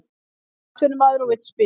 Hann er atvinnumaður og vill spila